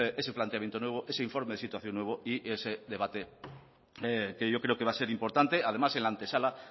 ese planteamiento nuevo ese informe de situación nuevo y ese debate que yo creo que va a ser importante además en la antesala